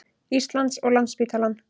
Íslands og Landspítalann.